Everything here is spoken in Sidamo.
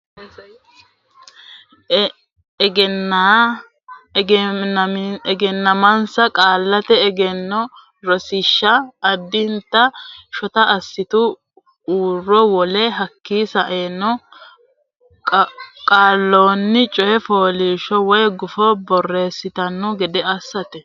Egennaa misa qaallate egenno rosiishsha addinta shota assite uro Wole hekki yitanno qaallanni coy fooliishsho woy gufo borreessitanno gede assinsa.